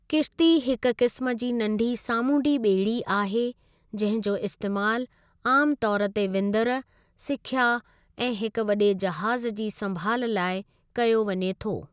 किश्ती हिकु क़िस्म जी नंढी सामूंडी बे॒ड़ी आहे जंहिं जो इस्तेमालु आमतौर ते विंदुर, सिख्या ऐं हिकु वडे॒ जहाज़ जी संभाल लाइ कयो वञे थो।